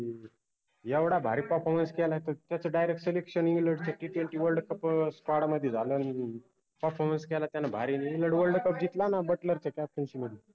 येवढा भारी performance केलाय त त्याच directselectionengland च्या Ttwentyworldcupsquad मदि झालं performance केला त्यानं भारी इंग्लंड world cup जितका ना बुट्ट्लरच्या captaincy मदि